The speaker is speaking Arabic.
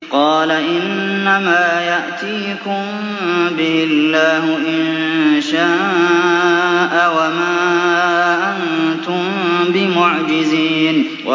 قَالَ إِنَّمَا يَأْتِيكُم بِهِ اللَّهُ إِن شَاءَ وَمَا أَنتُم بِمُعْجِزِينَ